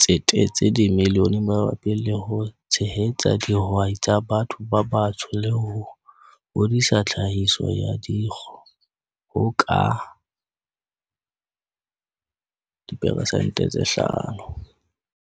tsetetse dimilione mabapi le ho tshehetsa di hwai tsa batho ba batsho le ho hodisa tlhahiso ya dikgo ho ka diperesente tse 5.